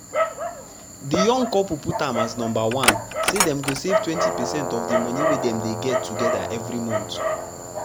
de young couple put am as number one say dem go save 20 percent of de monie wey dem dey get together every month.